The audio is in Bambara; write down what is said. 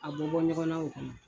A bɔ bɔ ɲɔgɔnna o kɔnɔ.